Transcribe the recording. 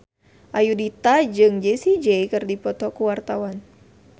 Ayudhita jeung Jessie J keur dipoto ku wartawan